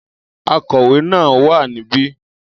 Akọ̀wé náà wà níbí